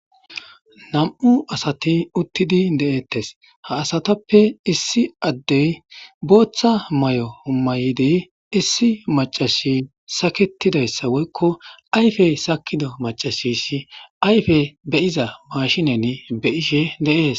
Nam'u asati uttidi de'ettes ha asatappe issi addey booththa may'o humayidi issi macashi saketidayssa woykko ayfey sakido macashisi ayfe beyiza mashinen be ishe de'ees.